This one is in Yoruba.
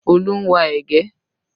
Olú ń wa ẹ̀gẹ́